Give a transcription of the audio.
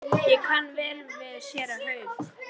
Ég kann vel við séra Hauk.